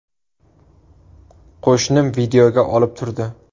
Qo‘shnim videoga olib turdi.